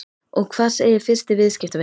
Og hvað segir fyrsti viðskiptavinurinn?